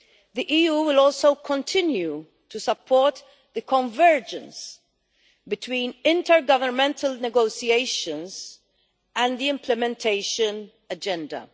The EU will also continue to support the convergence between intergovernmental negotiations and the implementation agenda.